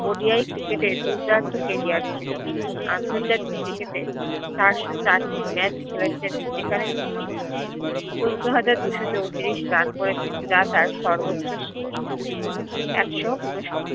ODIcricket এ দুর্দান্ত career ছিল তিনি আন্তরজাতিক cricket এ চারশত চারটি match খেলেছেন যেখানে তিনি চোদ্দ হাজার দুশো চৌত্রিশ run করেছেন যা তার সর্ব্ত্র শিখরে একশ উনোষাট